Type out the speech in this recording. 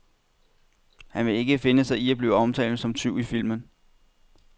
Han vil ikke finde sig i at blive omtalt som tyv i filmen.